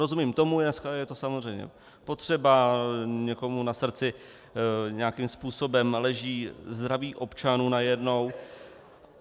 Rozumím tomu, dneska je to samozřejmě potřeba, někomu na srdci nějakým způsobem leží zdraví občanů najednou.